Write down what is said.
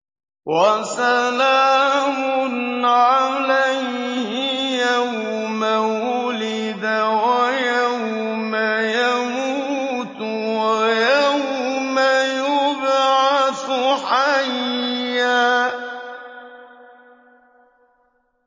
وَسَلَامٌ عَلَيْهِ يَوْمَ وُلِدَ وَيَوْمَ يَمُوتُ وَيَوْمَ يُبْعَثُ حَيًّا